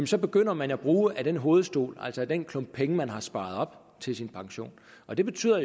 så begynder man at bruge af den hovedstol altså den klump penge man har sparet op til sin pension og det betyder